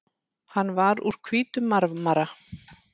Hann var úr hvítum marmara.